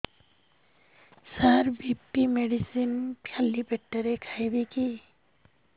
ସାର BP medicine ଖାଲି ପେଟରେ ଖାଇବି କି